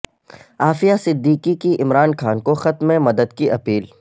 عافیہ صدیقی کی عمران خان کو خط میں مدد کی اپیل